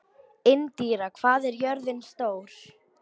Indíra, hvað er jörðin stór?